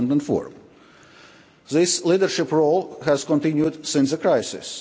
2004. This leadership role has continued since the crisis.